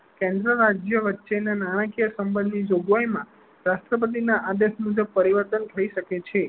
કેન્દ્ર રાજ્ય વચ્ચે ના નાણાકીય સંબંધ ની જોગવાઈ માં રાષ્ટ્રપતિ ના આદેશ મુજબ પરિવર્તન થઇ શકે છે.